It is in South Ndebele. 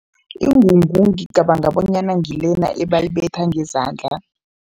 Ingungu ngicabanga bonyana ngilena ebayibetha ngezandla.